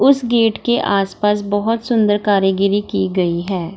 उस गेट के आस-पास बहोत सुन्दर कारीगरी की गई है।